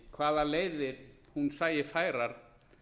hvaða leiðir hún sæi færar